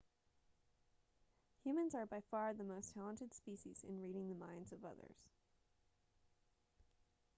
humans are by far the most talented species in reading the minds of others